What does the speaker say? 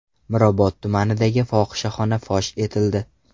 Mirobod tumanidagi fohishaxona fosh etildi.